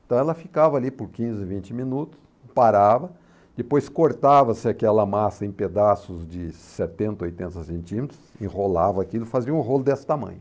Então ela ficava ali por quinze, vinte minutos, parava, depois cortava-se aquela massa em pedaços de setenta, oitenta centímetros, enrolava aquilo, fazia um rolo desse tamanho.